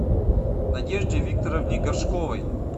надежде викторовне горшковой